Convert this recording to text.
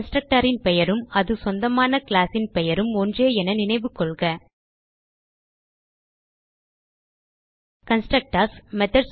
constructor ன் பெயரும் அது சொந்தமான கிளாஸ் ன் பெயரும் ஒன்றே என நினைவுகொள்க கன்ஸ்ட்ரக்டர்ஸ்